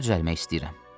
İşə düzəlmək istəyirəm.